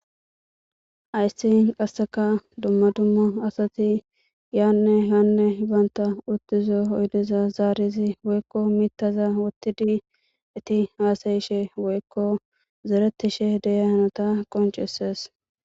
ayssi qasseka dumma dumma asati yaanne haanne banta uttizo oydeza zaarizi woykko miittaza wottidi eti haasayishe woykko zeretishe deya hanota qoncesees